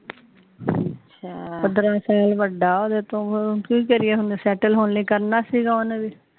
ਪੰਦਰਾਂ ਸਾਲ ਵੱਡਾ ਓਹਦੇ ਤੋਂ ਕਿ ਕਰੀਏ ਸੈਟਲ ਹੋਣ ਲਈ ਕਰਨਾ ਸੀਗਾ ਓਹਨੇ ਵੀ